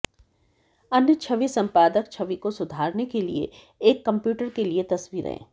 अन्य छवि संपादक छवि को सुधारने के लिए एक कंप्यूटर के लिए तस्वीरें